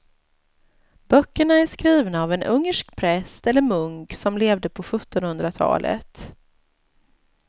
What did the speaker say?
Böckerna är skrivna av en ungersk präst eller munk som levde på sjuttonhundratalet.